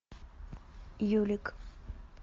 юлик